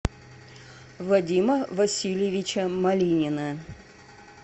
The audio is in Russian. вадима васильевича малинина